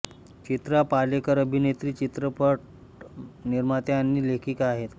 चित्रा पालेकर अभिनेत्री चित्रपट निर्मात्या आणि लेखिका आहेत